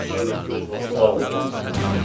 Bu iş üzrə məhkəmə iclası bağlayıram mən.